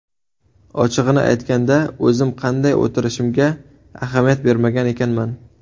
Ochig‘ini aytganda, o‘zim qanday o‘tirishimga ahamiyat bermagan ekanman.